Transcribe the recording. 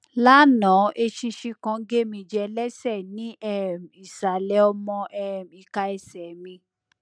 láná eṣinṣin kan gé mí jẹ lẹsẹ ní um ìsàlẹ ọmọ um ìka ẹsẹ mi